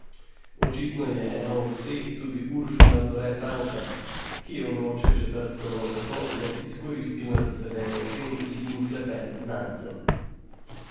Očitno je ena od teh tudi Uršula Zore Tavčar, ki je vroče četrtkovo dopoldne izkoristila za sedenje v senci in klepet z znancem.